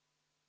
Palun!